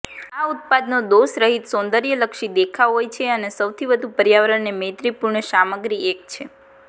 આ ઉત્પાદનો દોષરહિત સૌંદર્યલક્ષી દેખાવ હોય છે અને સૌથી વધુ પર્યાવરણને મૈત્રીપૂર્ણ સામગ્રી એક છે